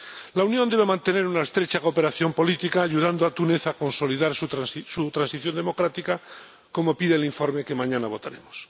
La Unión debe mantener una estrecha cooperación política ayudando a Túnez a consolidar su transición democrática, como pide el informe que mañana votaremos.